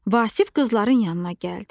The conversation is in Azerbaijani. Vasif qızların yanına gəldi.